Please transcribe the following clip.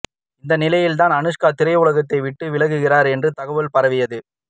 இந்நிலையில் தான் அனுஷ்கா திரையுலகை விட்டு விலகுகிறார் என்ற தகவல் பரவியது